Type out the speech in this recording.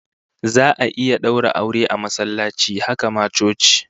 Za'a iya daura aure a masallaci, haka ma coci